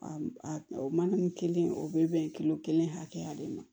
O mana nin kelen o bɛ bɛn kelen hakɛya de ma